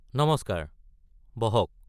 নমস্কাৰ, বহক।